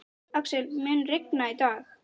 Axel, mun rigna í dag?